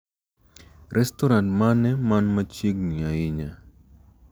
Restoran mane man machiegni ahinya